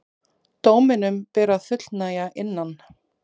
Dóminum ber að fullnægja innan